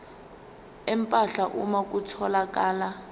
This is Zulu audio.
empahla uma kutholakala